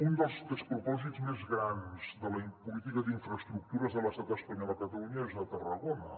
un dels despropòsits més grans de la política d’infraestructures de l’estat espanyol a catalunya és a tarragona